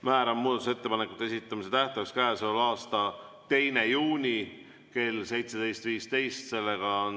Määran muudatusettepanekute esitamise tähtajaks käesoleva aasta 2. juuni kell 17.15.